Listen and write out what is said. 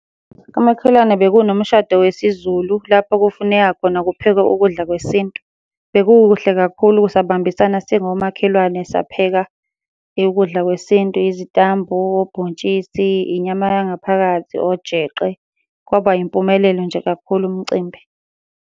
Kamakhelwane bekunomshado wesiZulu lapho kufuneka khona kuphekwe ukudla kwesintu. Bekukuhle kakhulu sabambisana singomakhelwane sapheka ukudla kwesintu, izitambu, obhontshisi, inyama yangaphakathi, ojeqe. Kwaba yimpumelelo nje kakhulu umcimbi.